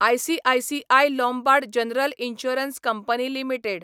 ICICI Lombard general insurance company limited